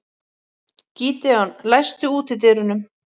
Gídeon, læstu útidyrunum.